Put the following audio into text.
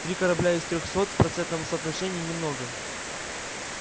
три корабля из трёхсот в процентном соотношении немного